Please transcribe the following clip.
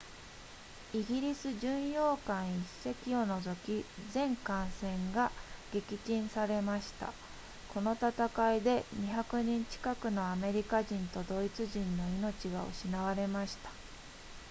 イギリス巡洋艦1隻を除き全艦船が撃沈されましたこの戦いで200人近くのアメリカ人とドイツ人の命が失われました